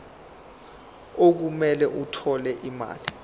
okumele athole imali